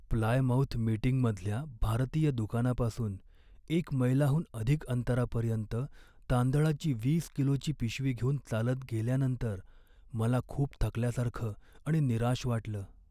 Plymouth मीटिंगमधल्या भारतीय दुकानापासून एक मैलाहून अधिक अंतरापर्यंत तांदळाची वीस किलोची पिशवी घेऊन चालत गेल्यानंतर मला खूप थकल्यासारखं आणि निराश वाटलं.